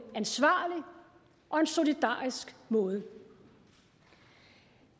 ansvarlig og en solidarisk måde